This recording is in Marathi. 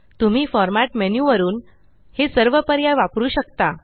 तुम्ही फॉर्मॅट मेन्यु वरून हे सर्व पर्याय वापरू शकता